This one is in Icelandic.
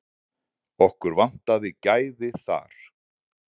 Okkur vantaði gæði þar.